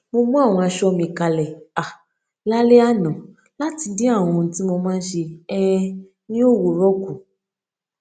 mo mú àwọn aṣọ mi kalè um lálé àná láti dín àwọn ohun tí mo máa n ṣe um ní òwúrò kù